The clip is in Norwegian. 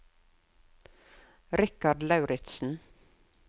Richard Lauritzen